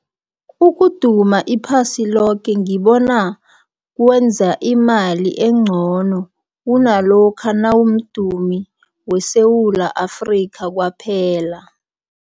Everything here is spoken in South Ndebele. Ukuduma iphasi loke ngibona kwenza imali engcono, kunalokha nawumdumi weSewula Afrika kwaphela.